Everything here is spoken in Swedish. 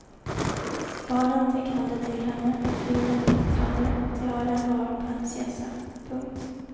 Barnen tecknade till henne hur fin och glittrande tiaran var på hennes hjässa. punkt